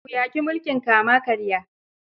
Ku yaƙi mulkin kama-karya.